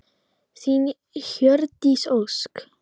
Þín, Hjördís Ósk.